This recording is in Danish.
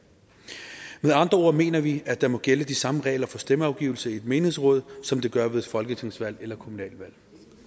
med andre ord mener vi at der må gælde de samme regler for stemmeafgivelse i et menighedsråd som der gør ved et folketingsvalg eller kommunalvalg